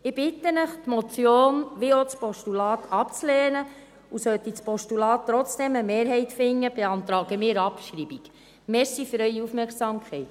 Ich bitte Sie, die Motion wie auch das Postulat abzulehnen, und sollte das Postulat trotzdem eine Mehrheit finden, beantragen wir Abschreibung.